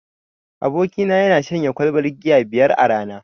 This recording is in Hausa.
Abokina yana shanye kwalbar giya biyar a rana.